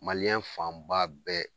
fanba bɛɛ